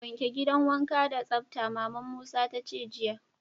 Wanke gidan wanka da tsabta! Mama'n Musa ta ce jiya.